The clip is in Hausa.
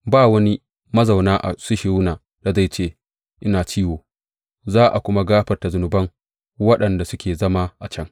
Ba wani mazauna a Sihiyona da zai ce, Ina ciwo; za a kuma gafarta zunuban waɗanda suke zama a can.